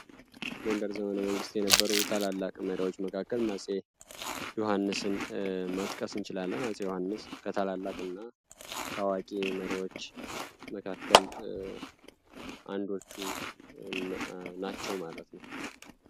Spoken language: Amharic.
በጎንደር ዘመነ መንግስት ከነበሩ ታላላቅ መሪዎች መካከል አፄ ዩሀንስን መጥቀስ እንችላለን። አፄ ዩሀንስ ከታላላቅ እና ታዋቂ መሪዎች መካከል አንዶቹ ናቸው ማለት ነው።